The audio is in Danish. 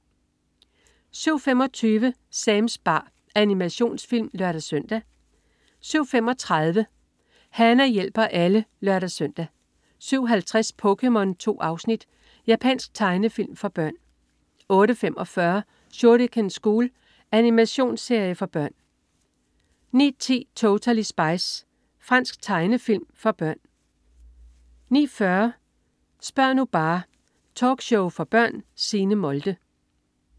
07.25 SamSam. Animationsfilm (lør-søn) 07.35 Hana hjælper alle (lør-søn) 07.50 POKéMON. 2 afsnit. Japansk tegnefilm for børn 08.45 Shuriken School. Animationsserie for børn 09.10 Totally Spies. Fransk tegnefilm for børn 09.40 Spør' nu bare!. Talkshow for børn. Signe Molde